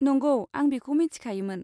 नंगौ? आं बेखौ मिथियामोन।